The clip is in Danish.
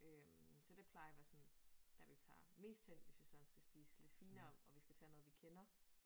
Øh så der plejer være sådan dér vi tager mest hen hvis vi sådan skal spise lidt finere og vi skal tage noget vi kender